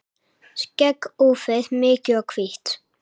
Skegg úfið, mikið og hvítt.